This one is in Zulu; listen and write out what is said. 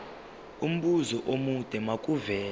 umbuzo omude makuvele